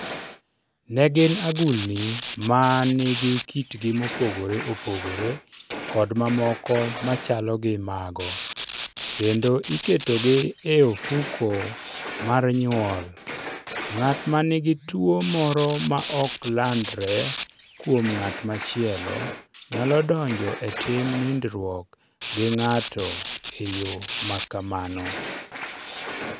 Ne gin agulni ma nigi kitgi mopogore opogore kod mamoko ma chalo gi mago. kendo iketogi e ofuko mar nyuol Ng'at ma nigi tuwo moro ma ok landre kuom ng'at machielo, nyalo donjo e tim nindruok gi ng'ato e yo ma kamano.